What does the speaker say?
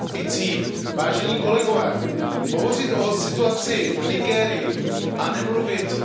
Hovořit o situaci v Nigérii a nemluvit o náboženství, resp.